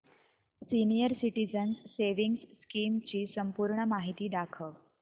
senior citizens savings scheme ची संपूर्ण माहिती दाखव